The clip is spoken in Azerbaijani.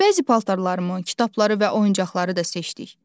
Bəzi paltarlarımı, kitabları və oyuncaqları da seçdik.